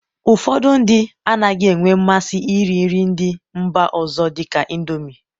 ụfọdụ ndị anaghị enwe mmasị iri nri ndị mba ọzọ dịka Indomi